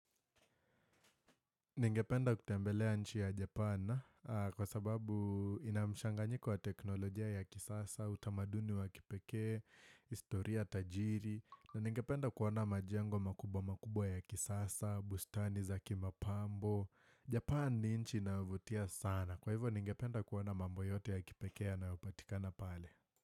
Ningependa kutembelea nchi ya Japan kwa sababu ina mchanganyiko wa teknolojia ya kisasa, utamaduni wa kipekee, historia tajiri, na ningependa kuona majengo makubwa makubwa ya kisasa, bustani za kimapambo. Japan ni nchi inayovutia sana. Kwa hivyo, ningependa kuona mambo yote ya kipekee yanayopatikana pale.